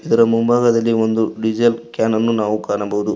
ಇದರ ಮುಂಭಾಗದಲ್ಲಿ ಒಂದು ಡೀಸೆಲ್ ಕ್ಯಾನನ್ನು ನಾವು ಕಾಣಬಹುದು.